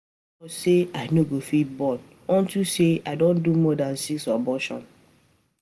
Doctor say I no um go fit born unto say um I say um I don do more dan six abortion